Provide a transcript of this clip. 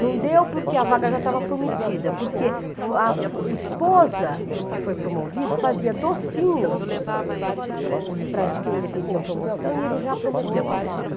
Não deu porque a vaga já estava prometida, porque a fo a esposa do que foi promovido fazia docinhos para quem dependia da promoção e ele já prometeu a vaga.